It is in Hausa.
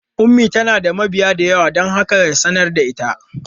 Ummi tana da mabiya da yawa don haka ya sanar da ita.